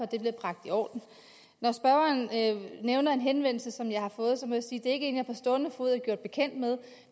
det bliver bragt i orden når spørgeren nævner en henvendelse som jeg har fået så må jeg sige det er en jeg på stående fod er bekendt med